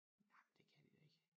Nej men det kan de da ikke